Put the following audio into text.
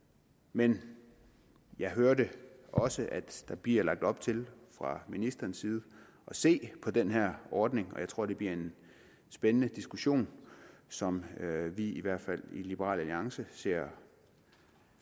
men jeg hørte også at der bliver lagt op til fra ministerens side at se på den her ordning og jeg tror at det bliver en spændende diskussion som vi i hvert fald i liberal alliance ser